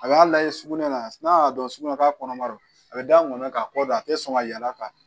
A b'a lajɛ sugunɛ la n'a y'a dɔn sugunɛ k'a kɔnɔma don a bɛ da n kɔnɔ k'a kɔ don a tɛ sɔn ka yaal'a kan